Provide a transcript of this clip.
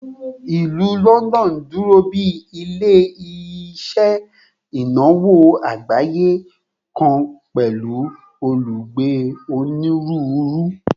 Ilu Lọndọnu duro bi ile-iṣẹ inawo agbaye kan pẹlu olugbe oniruuru